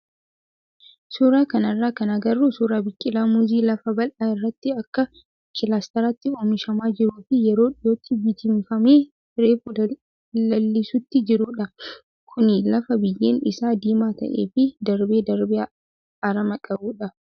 Suuraa kanarraa kan agarru suuraa biqilaa muuzii lafa bal'aa irratti akka kilaastaraatti oomishamaa jiruu fi yeroo dhiyootti bittimfamee reefu lalisuutti jirudha. Kunis lafa biyyeen isaa diimaa ta'ee fi darbee darbee aramaa qabudha.